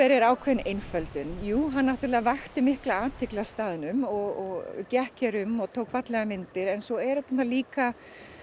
væri ákveðin einföldun hann vakti mikla athygli á staðnum og gekk hér um og tók fallegar myndir en svo er þetta líka